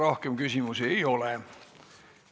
Rohkem küsimusi ei ole.